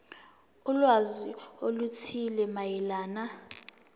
ulwazi oluthile mayelana